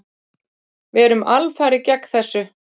Við erum alfarið gegn þessu.